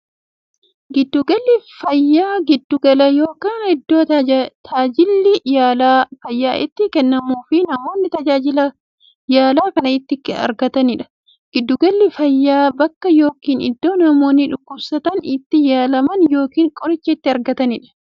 Giddu galli fayyaa giddu gala yookiin iddoo taajilli yaala fayyaa itti kennamuufi namoonni tajaajila yaalaa kana itti argataniidha. Giddu galli fayyaa bakka yookiin iddoo namoonni dhukkubsatan itti yaalaman yookiin qoricha itti argataniidha.